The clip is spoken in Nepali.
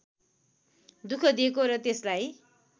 दुःख दिएको र त्यसलाई